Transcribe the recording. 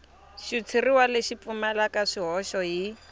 xitshuriwa lexi pfumalaka swihoxo hi